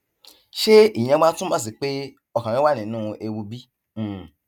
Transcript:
ṣé ìyẹn wá túmọ sí pé ọkàn rẹ wà nínú ewu bí um